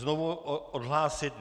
Znovu odhlásit?